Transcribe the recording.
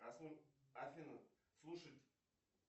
афина слушать